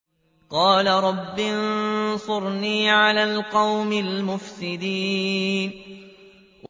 قَالَ رَبِّ انصُرْنِي عَلَى الْقَوْمِ الْمُفْسِدِينَ